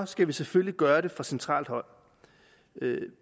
skal vi selvfølgelig gøre det fra centralt hold